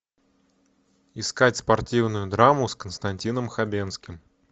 искать спортивную драму с константином хабенским